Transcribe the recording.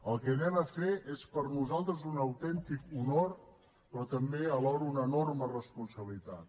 el que anem a fer és per nosaltres un autèntic honor però també alhora una enorme responsabilitat